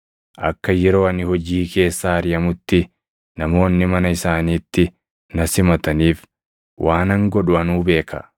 Akka yeroo ani hojii keessaa ariʼamutti namoonni mana isaaniitti na simataniif waanan godhu anuu beeka.’